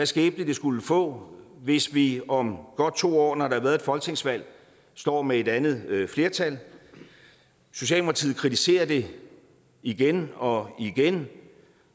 skæbne det skulle få hvis vi om godt to år når der har været et folketingsvalg står med et andet flertal socialdemokratiet kritiserer det igen og igen